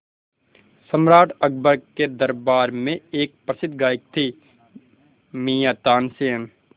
सम्राट अकबर के दरबार में एक प्रसिद्ध गायक थे मियाँ तानसेन